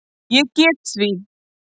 Ég get því